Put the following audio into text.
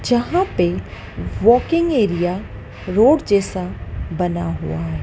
जहां पे walking area road जैसा बना हुआ है।